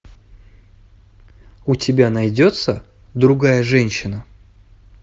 у тебя найдется другая женщина